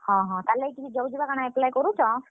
ହଁ ହଁ, ତାର୍ ଲାଗି କିଛି job ଯୁବା କାଣା apply କରୁଛ?